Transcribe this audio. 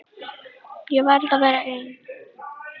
Ég verð að vera ein.